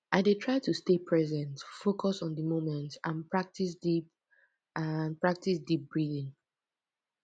i dey try to stay present focus on di moment and practice deep and practice deep breathing